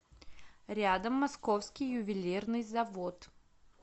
рядом московский ювелирный завод